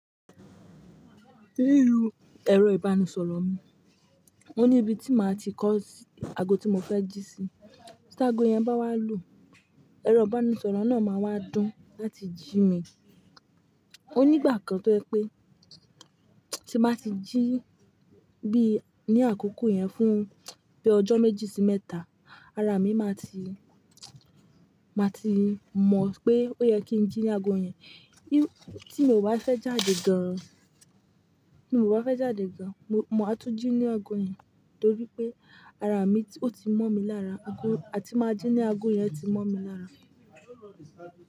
Lórí ẹ̀rọ ìbánisọ̀rọ̀ mi, mo ní ibi tí màá ti kọ́ ago tí mo fẹ́ jí sí. Tí ago yẹn bá wá lù, ẹ̀rọ ìbánisọ̀rọ̀ náà máa wá dún láti jí mi. Ó ní ìgbà kan tó yẹ pé tí màá ti jí bí ní àkókò yẹn fún bíi ọjọ́ méjì sí mẹ́ta, ara mi máa ti, máa ti mọ̀ pé ó yẹ kí n jí ní ago yẹn. Tí mi ò bá fẹ́ jáde gan-an, tí èmi ò bá fẹ́ jáde gan-an, mo, máa tún jí ní ago yẹn torí pé ara mi ó ti mọ́ mi lára ago, a ti máa jí ní ago yẹn ti mọ́ mi lára.